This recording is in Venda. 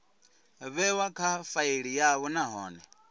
vhewa kha faili yavho nahone